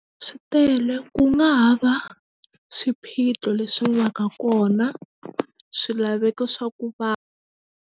Swi tele ku nga ha va swiphiqo leswi va ka kona swilaveko swa ku va.